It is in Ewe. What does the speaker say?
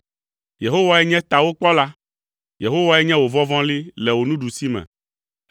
Yehowae nye tawòkpɔla, Yehowae nye wò vɔvɔli le wò nuɖusime